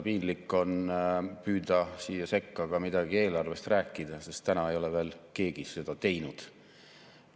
Piinlik on püüda siia sekka ka midagi eelarvest rääkida, sest täna ei ole veel keegi seda teinud.